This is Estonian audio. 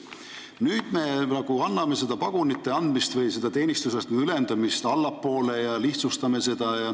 Nüüd me anname pagunite andmise või teenistusastmete ülendamise õigust allapoole ja lihtsustame seda.